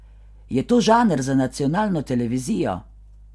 Je to žanr za nacionalno televizijo?